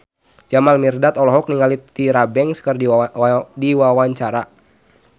Jamal Mirdad olohok ningali Tyra Banks keur diwawancara